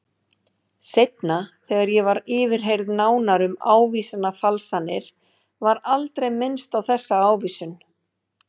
Seinna þegar ég var yfirheyrð nánar um ávísanafalsanirnar var aldrei minnst á þessa ávísun.